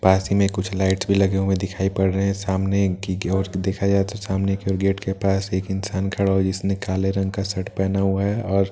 पास ही में कुछ लाइटस भी लगे हुए दिखाई पड़ रहे हैं सामने गि गौर से देखा जाए तो सामने कि और गेट के पास एक इंसान खड़ा हुआ है जिसने काले रंग का शर्ट पहना हुआ है और--